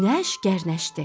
Günəş gərnəşdi.